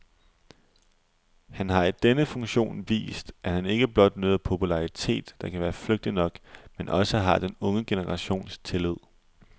Han har i denne funktion vist, at han ikke blot nyder popularitet, der kan være flygtig nok, men også har den unge generations tillid.